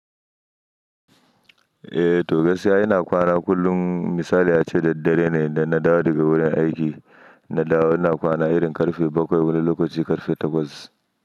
Eh to gaskiya ina kwana kullum. Misali ya ce da dare ne da na dawo daga wurin aiki, na dawo ina kwana irin ƙarfe bakwai wani lokaci ƙarfe takwas.